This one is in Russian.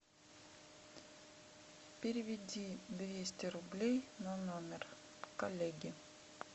переведи двести рублей на номер коллеги